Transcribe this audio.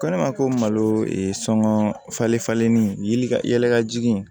Ko ne ma ko malo sɔngɔ falen falenlen ka yɛlɛ ka jigin